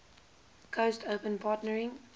coast open partnering